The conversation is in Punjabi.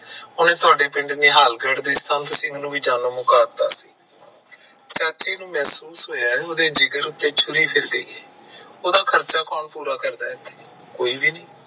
ਉਹਨੇ ਤੁਹਾਡੇ ਪਿੰਡ ਦੇ ਜੋ ਨਿਹਾਲਗੜ ਦਾ ਸੰਤ ਸੀ ਉਹਨੂੰ ਵੀ ਮਾਰ ਦਿਤਾ ਚਾਚੇ ਨੂੰ ਮਹਿਸੂਸ ਹੋਇਆ ਕਿ ਉਹਦੇ ਜਿਗਰ ਉੱਤੇ ਛੂਰੀ ਫਿਰ ਗਈ ਉਹਦਾ ਖਰਚਾ ਪੂਰਾ ਕੋਣ ਕਰਦਾ ਐ ਏਥੇ ਕੋਈ ਵੀ ਨੀ